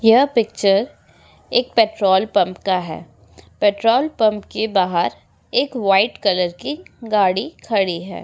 यह पिक्चर एक petrol pump का है पेट्रोल पम्प के बाहर एक व्हाइट कलर की गाड़ी खड़ी है।